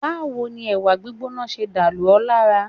Báwo ni ẹ̀wà gbígbóná ṣe dà lù ẹ́ lára?